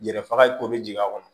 Yɛrɛ faga ko bɛ jigin a kɔnɔ